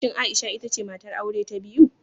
Shin Aisha ita ce matar aure ta biyu?